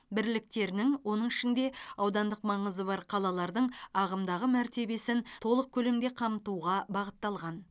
бірліктерінің оның ішінде аудандық маңызы бар қалалардың ағымдағы мәртебесін толық көлемде қамтуға бағытталған